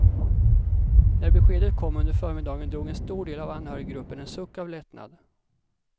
När beskedet kom under förmiddagen drog en stor del av anhöriggruppen en suck av lättnad.